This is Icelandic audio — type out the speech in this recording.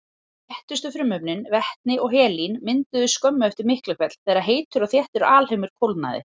Léttustu frumefnin, vetni og helín, mynduðust skömmu eftir Miklahvell þegar heitur og þéttur alheimur kólnaði.